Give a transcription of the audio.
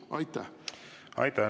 Aitäh!